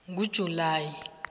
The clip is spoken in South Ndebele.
ngojulayi